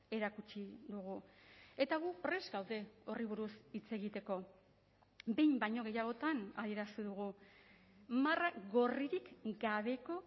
erakutsi dugu eta gu prest gaude horri buruz hitz egiteko behin baino gehiagotan adierazi dugu marra gorririk gabeko